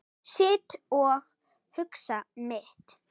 Sit og hugsa mitt.